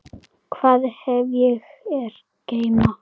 Hvað hef ég að geyma?